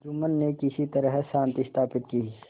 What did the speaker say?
जुम्मन ने किसी तरह शांति स्थापित की